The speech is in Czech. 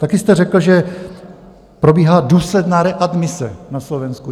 Taky jste řekl, že probíhá důsledná readmise na Slovensku.